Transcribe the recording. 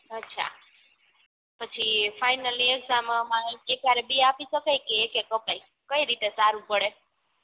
અછા પછી finally exam માં એકહારે બે આપી સકાય કે એક એક અપાય કઈ રીતે સારું પડે